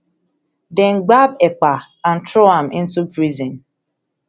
dem gbab ekpa and throw am into prison